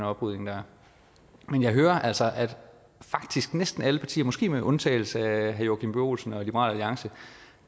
oprydning der men jeg hører altså at faktisk næsten alle partier måske med undtagelse af herre joachim b olsen og liberal alliance